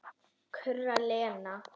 kurrar Lena.